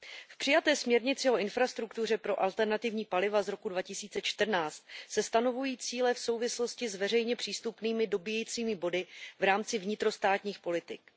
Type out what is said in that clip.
V přijaté směrnici o infrastruktuře pro alternativní paliva z roku 2014 se stanovují cíle v souvislosti s veřejně přístupnými dobíjecími body v rámci vnitrostátních politik.